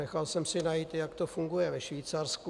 Nechal jsem si najít, jak to funguje ve Švýcarsku.